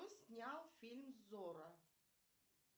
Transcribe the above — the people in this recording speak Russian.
кто снял фильм зорро